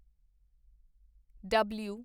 ਡਬਲੂ